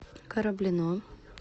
кораблино